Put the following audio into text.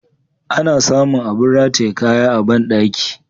Ana sa mun abin rataye kaya a bandaki.